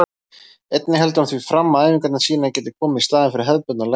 Einnig heldur hann því fram að æfingarnar sínar geti komið í staðinn fyrir hefðbundnar lækningar.